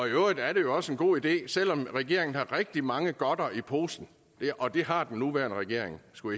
øvrigt er det jo også en god idé selv om regeringen har rigtig mange godter i posen og det har den nuværende regering skulle